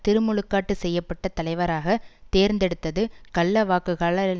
திருமுழுக்காட்டு செய்ய பட்ட தலைவராக தேர்ந்தெடுத்தது கள்ளவாக்குகளால்